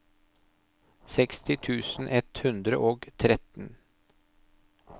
seksti tusen ett hundre og tretten